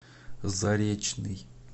заречный